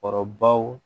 Kɔrɔbaw